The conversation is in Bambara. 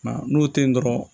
Nka n'o tɛ ye dɔrɔn